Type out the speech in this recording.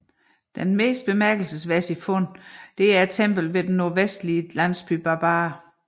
Det mest bemærkelsesværdige fund er templet ved den nordvestlige landsby Barbar